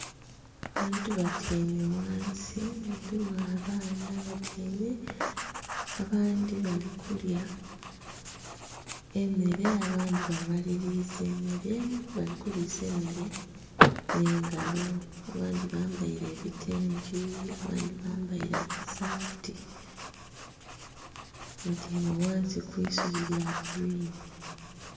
Abantu batyaime ghansi mulimu abaana abatyaime, abandhi bali kulya emere abandhi ba maliliza emere, bali kulisa emere nhe ngalo abandhi bambaire ebitengi abandhi bambaire amasaati batyaime ghansi mwisubi lya gurwiini.